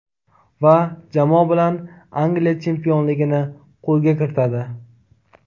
Va jamoa bilan Angliya chempionligini qo‘lga kiritadi.